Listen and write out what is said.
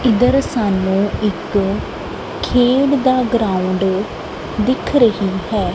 ਇੱਧਰ ਸਾਨੂੰ ਇੱਕ ਖੇਡ ਦਾ ਗਰਾਉਂਡ ਦਿਖ ਰਹੀ ਹੈ।